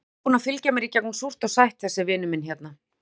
Hann er búinn að fylgja mér í gegnum súrt og sætt, þessi vinur minn hérna.